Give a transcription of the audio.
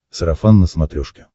сарафан на смотрешке